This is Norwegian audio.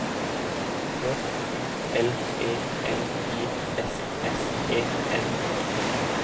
J U L E N I S S E N